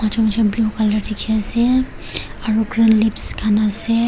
blue colour dekhi ase aro green leaves khan ase.